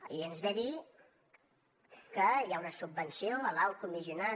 i ens ve a dir que hi ha una subvenció a l’alt comissionat